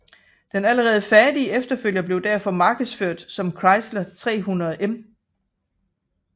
Den allerede færdige efterfølger blev derfor markedsført som Chrysler 300M